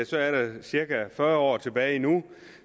så er der cirka fyrre år tilbage endnu